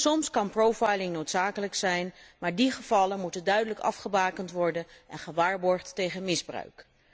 Soms kan profiling noodzakelijk zijn, maar die gevallen moeten duidelijk afgebakend worden en gewaarborgd tegen misbruik.